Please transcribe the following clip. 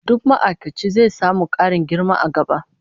Duk ma'aikaci zai samu karin girma a gaba